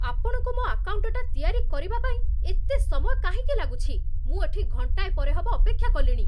ଆପଣଙ୍କୁ ମୋ' ଆକାଉଣ୍ଟଟା ତିଆରି କରିବା ପାଇଁ ଏତେ ସମୟ କାହିଁକି ଲାଗୁଛି? ମୁଁ ଏଠି ଘଣ୍ଟାଏ ପରେ ହବ ଅପେକ୍ଷା କଲିଣି!